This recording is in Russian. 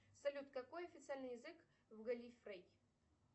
салют какой официальный язык в галлифрей